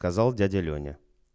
сказал дядя лёня